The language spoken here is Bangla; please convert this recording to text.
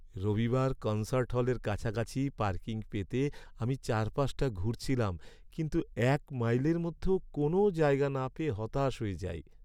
রবিবার কনসার্ট হলের কাছাকাছি পার্কিং পেতে আমি চারপাশটা ঘুরছিলাম, কিন্তু এক মাইলের মধ্যেও কোনো জায়গা না পেয়ে হতাশ হয়ে যাই।